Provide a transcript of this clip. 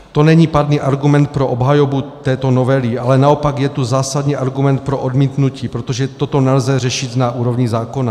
To není pádný argument pro obhajobu této novely, ale naopak je to zásadní argument pro odmítnutí, protože toto nelze řešit na úrovni zákona.